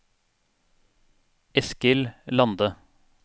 Eskil Lande